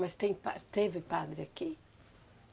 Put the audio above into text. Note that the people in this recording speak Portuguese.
Mas tem pa, teve padre aqui?